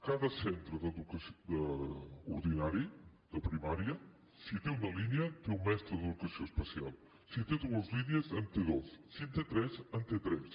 cada centre ordinari de primària si té una línia té un mestre d’educació especial si té dues línies en té dos si en té tres en té tres